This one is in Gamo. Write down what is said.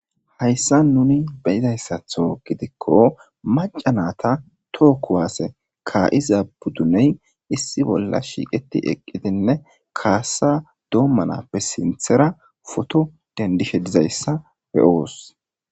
hayssa nuni beyizayssatho gidikko macanata tookuwaase ka7izabuduney issi bolla shiiqeti eqqidinne kaasa doommanappe sinthera foto dendishedizayssa beyoos